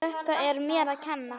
Þetta er mér að kenna.